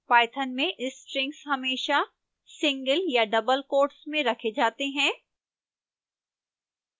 python में strings हमेशा single या double quotes में रखे जाते हैं